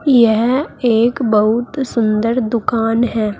यह एक बहुत सुंदर दुकान है।